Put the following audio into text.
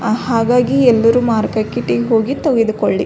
ಹಾಗಾಗಿ ಎಲ್ಲರು ಮಾರ್ಕೆಟಿಗೆ ಹೋಗಿ ತೆಗೆದುಕೊಳ್ಳಿ.